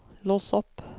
lås opp